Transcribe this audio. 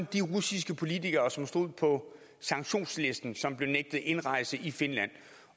de russiske politikere som stod på sanktionslisten som blev nægtet indrejse i finland